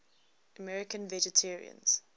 american vegetarians